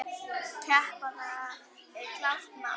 Keppa, það er klárt mál.